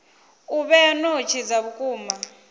u vhea notsi dza vhukuma